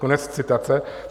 Konec citace.